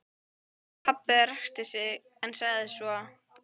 Pabbi ræskti sig en sagði svo